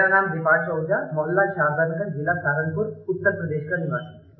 मेरा नाम दीपांशु आहूजा मोहल्ला सादतगंज ज़िला सहारनपुर उत्तर प्रदेश का निवासी हूँ